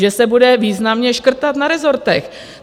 Že se bude významně škrtat na rezortech.